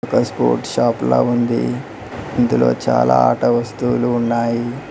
ఒక sport shop లా ఉంది ఇందులో చాలా ఆట వస్తువులు ఉన్నాయి.